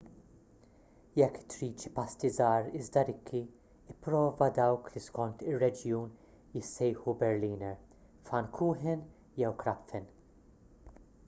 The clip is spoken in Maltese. jekk trid xi pasti żgħar iżda rikki ipprova dawk li skont ir-reġjun jissejjħu berliner pfannkuchen jew krapfen